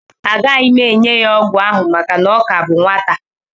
Agaghị m enye ya ọgwụ ahụ maka na ọ ka bụ nwata